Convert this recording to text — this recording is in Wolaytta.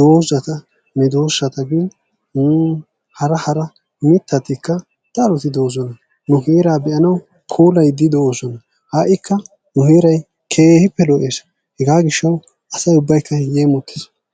doozata meedosata gin hara hara mittatika daroti de'oosona. Nu heeraa be'anawu puulayiidi doosona. Ha'ikka ne heeray keehippe lo"ees. Hegaa giishshawu asay ubbaykka keehippe yeemottees.